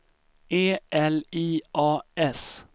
E L I A S